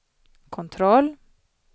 kontroll